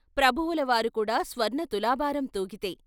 ప్రభువుల వారు కూడా స్వర్ణ తులాభారం తూగితే.